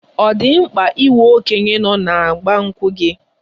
Ọ dị mkpa inwe okenye nọ na 'Igba nkwu' gị?